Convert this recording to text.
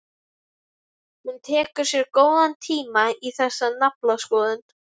Hún tekur sér góðan tíma í þessa naflaskoðun.